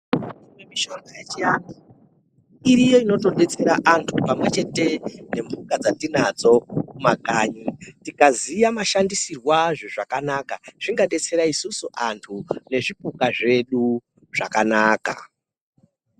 Mishonga yechiantu iriyo inotodetsera antu pamwechete nemhuka dzatinadzo kumakanyi, tikaziya mashandiswiro azvo zvakanaka zvingabetsera isusu antu nezvipuka zvedu zvakanaka.